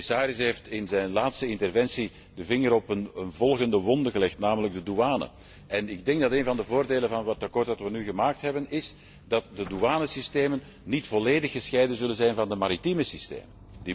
De commissaris heeft in zijn laatste interventie de vinger op een volgende wonde gelegd, namelijk de douane. Een van de voordelen van het verslag dat we nu gemaakt hebben, is dat de douanesystemen niet volledig gescheiden zullen zijn van de maritieme systemen.